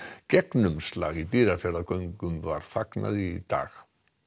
gegnumslagi í Dýrafjarðargöngum var fagnað í dag